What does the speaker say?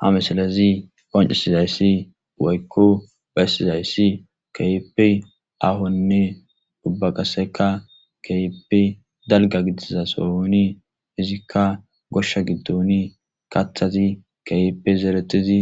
ha misilezi qoncisizayssi uwaykko baessizayssi keyipe ahonne dubbaqaseka keyepe dalga gidiza sooni izikka goshsha giddoni kathati keype zeeretizi